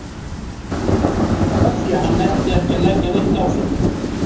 Af því að hann nennti ekki að leggja neitt á sig.